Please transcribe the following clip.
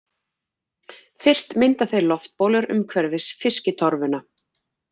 Fyrst mynda þeir loftbólur umhverfis fiskitorfuna.